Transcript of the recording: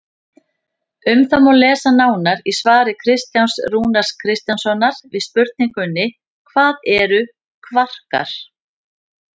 Um það má lesa nánar í svari Kristjáns Rúnars Kristjánssonar við spurningunni Hvað eru kvarkar?